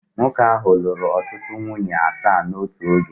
Nwoke ahụ lụrụ ọtụtụ nwunye asaa n'otu oge